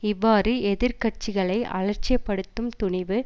இவ்வாறு எதிர் கட்சிகளை அலட்சியப்படுத்தும் துணிவு